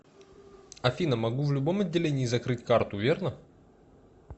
афина могу в любом отделении закрыть карту верно